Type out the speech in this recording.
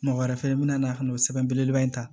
Mɔgɔ wɛrɛ fɛnɛ be na ka na o sɛbɛn belebeleba in ta